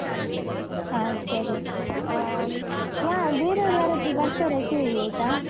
ಹಾ ಸರಿ. ಆಮ್, ಯಾ ಬೇರೆ ಅವ್ರು ಯಾರಾದ್ರೂ ಬರ್ತಾರಾ ಕೇಳಿ ಆಯ್ತಾ?